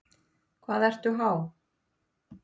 Hvað ertu há?